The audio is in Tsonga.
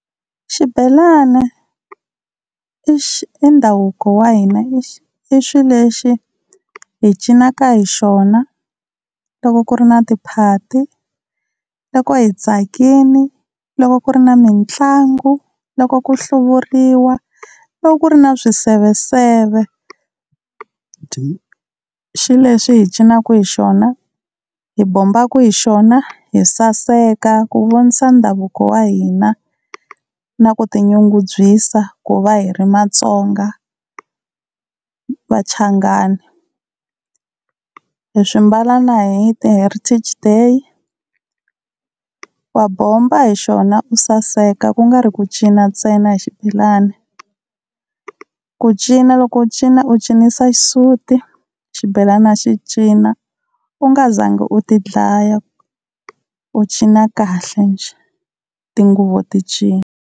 Xibelani i ndhavuko wa hina i i xilexi hi cinaka hi xona loko ku ri na tiphati, loko hi tsakini, loko ku ri na mitlangu, loko ku hluvuriwa, loko ku ri na swiseveseve. I xilexi hi cinaka hi xona, hi bombaku hi xona, hi saseka ku vonisa ndhavuko wa hina na ku tinyungubyisa ku va hi ri Matsonga Vachangana. Hi swi mbala na hi ti-Heritage Day, wa bomba hi xona u saseka ku nga ri ku cina ntsena hi xibelani. Ku cinca loko u cina u cinisa xisuti xibelana xi cina u nga za ngi u ti dlaya u cina kahle njhe tinguvu ti cina.